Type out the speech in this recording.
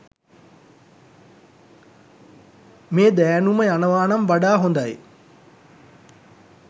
මේ දෑනුම යනවා නම් වඩා හොදයි.